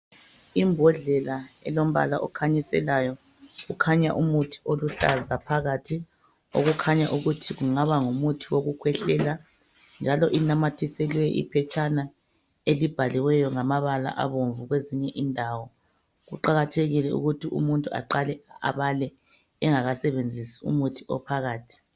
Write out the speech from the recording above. Imbhodlela elombala okhanyiselayo, kukhanya umuthi oluhlaza phakathi, okukhanya ukuthi kungaba ngumuthi wokukhwehlela, njalo inanyathiselwe iphetshana elibhaliweyo ngamabala abomvu kwezinye indawo. Kuqakathekile ukuthi umuntu aqale abale engakasebenzisi umuthi ophakathi.